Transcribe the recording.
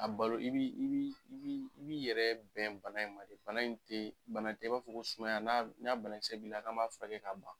A balo i b'i yɛrɛ bɛn bana in ma, bana in te bana tɛ i b'a fɔ ko sumaya n'a banakisɛ b'i la n'a be furakɛ ka ban.